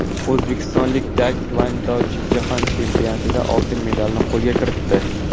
O‘zbekistonlik taekvondochi Jahon chempionatida oltin medalni qo‘lga kiritdi.